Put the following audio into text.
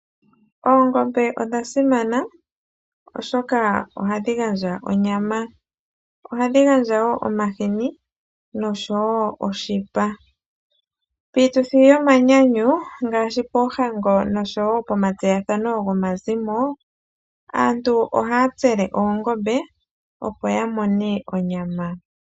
Oongombe odha simana oshoka ohadhi gandja onyama. Ohadhi gandja wo omashini oshowo oshipa. Piituthi yomanyanyu ngaashi poohango oshowo pomatseyathano gomazimo aantu ohaya tsele oongombe opo ya mone onyama.